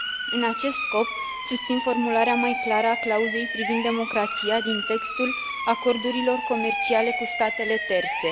În acest scop, susțin formularea mai clară a clauzei privind democrația din textul acordurilor comerciale cu statele terțe.